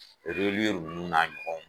ninnu n'a ɲɔgɔnw